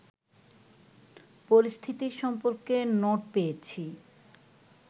পরিস্থিতি সম্পর্কে নোট পেয়েছি